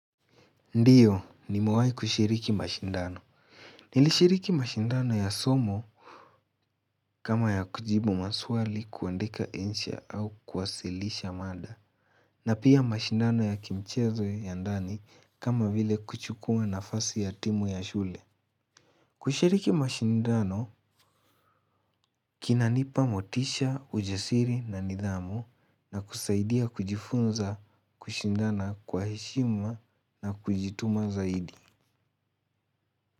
Ndiyo nimewahi kushiriki mashindano. Nilishiriki mashindano ya somo kama ya kujibu maswali kuandika insha au kuwasilisha mada. Na pia mashindano ya kimchezo ya ndani kama vile kuchukua nafasi ya timu ya shule. Kushiriki mashindano kinanipa motisha ujapsiri na nidhamu na kusaidia kujifunza kushindana kwa heshima na kujituma zaidi.